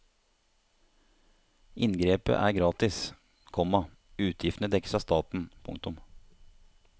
Inngrepet er gratis, komma utgiftene dekkes av staten. punktum